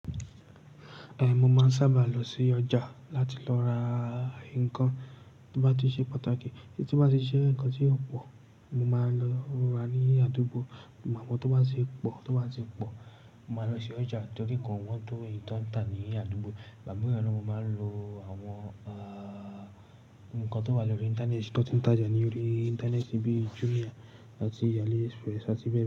Eh, mo máa ń sábà lọ sí ọjà láti lọ ra ńkan tó bá ti ṣe pàtàkì tí ó bá ti je ńkan tí ó pọ̀. Mo máa lọ ra ní àdúgbò, ìbà mú tí ó bá ti pọ̀, tí ó bá ti pọ̀. Mo máa lọ sí ọjà torí nkan òwón tó eyí ti wón ń tà ní àdúgbò. Bàbá rè máa ń lo àwọn, ah, ńkan tó wá lọrí internet, tó ti ń tà oja ní orí internet bíi Jumia àti AliExpress àti bẹ́ẹ̀